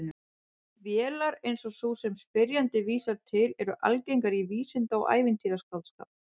Vélar eins og sú sem spyrjandi vísar til eru algengar í vísinda- og ævintýraskáldskap.